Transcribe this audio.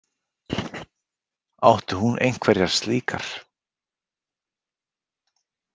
Átti hún einhverjar slíkar?